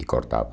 E cortava.